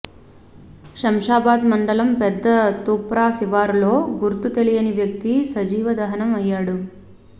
శంషాబాద్ మండలం పెద్ద తుప్రా శివారులో గుర్తు తెలియని వ్యక్తి సజీవ దహనం అయ్యాడు